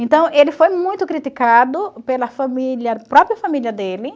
Então, ele foi muito criticado pela família própria família dele.